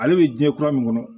Ale bɛ diɲɛ kura min kɔnɔ